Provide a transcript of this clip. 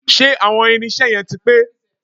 Ṣé àwọn irinṣẹ́ yẹn ti pé?